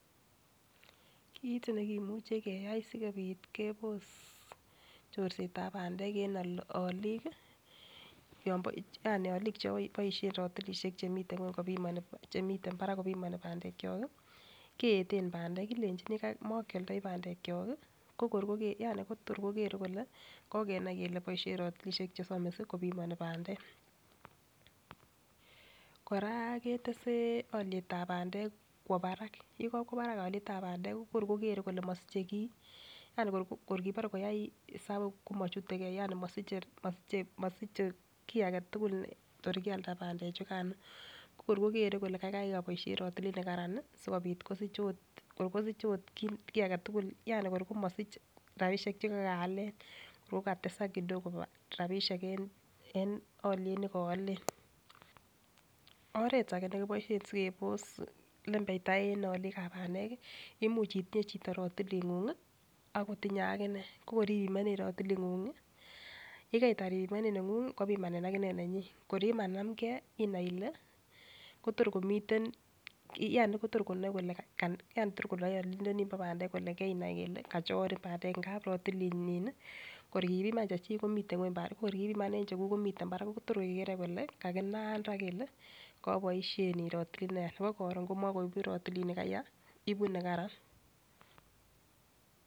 Kit nekimuche keyai sikopit kebos chorsetab pandek en olik kii yani olik cheboishen rotulishek chemiten ngwek chemiten barak kopimoni pandek kiyok kii keyeten pandek kelenjini mokioldoi pandek kyok kii ko kor konget yani ko tor kokere kole kokenai kele boishet rotulishek chesomisi kopimoni pandek . Koraa ketes olietab pandek kwo barak yekokwo barak olietab pandek ko kor kokere kole mosiche kii, yani kor kipore koyai isabu komochutegee yani mosiche mosiche kii agetukul your Kialda pandek chukano ko kor kokere kole Kai Kai oboishen rotilit nekararan nii sikopit kosich ot kor kosich ot kii agetukul Yan kor komosich rabishek chekokaalen okatesak kidogo rabishek en oliet nekiilen. Oret age nekiboishen sikebos lebeita en olikab pandek, imuch itin8 chito rotilit nguny ak kotinye akinee ko kor ipimonen rotilit ngungi yekeitar ipimonen nenguny kopimanen akinee nenyin kor yemanamgee inai Ile koyor komiten yani Kotor konoe kole keina Ile kachorn pandek ngap rotilinyin kor kipiman chechik komiten ngweny pandek ko kor kipiman en chekuk komiten barak kotore kokere kole kakinaan raa kele koboishen rotilit neyaa nebo korun komokoibu rotilit nikaya ibu nekaran